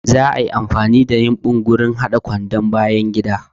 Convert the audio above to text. Za'a iya amfani da yumbu wurin haɗa kwandon bayangida.